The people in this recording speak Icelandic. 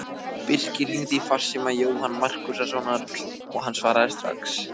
Birkir hringdi í farsíma Jóhanns Markússonar og hann svaraði strax.